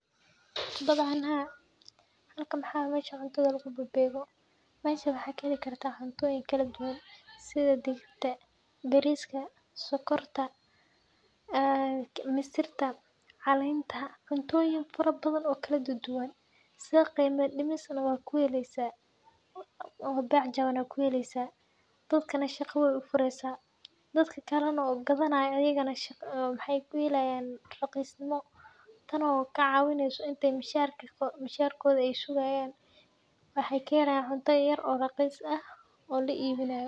Dabcan haa, halkan waxaa waye mesha cuntada laagubababego. Meshan waxaa kaheli kartaah cuntoyin kalduwan sida digirta, bariska ,sokorta ee misirta , calenta. Cuntoyin fara badhan oo kala duduwan sida qeyma dimis na wakuheleysaah oo bec jaban na wakuheleysaah, dadkana shaqo way ufureysaah. Dadka kale na oo gadanayo ayagana maxay kuhelayan raqisnimo, tan oo kacawineyso inti misharkoda ay sugayan, waxay kahelayan cunto yar oo raqis ah oo laibinayo.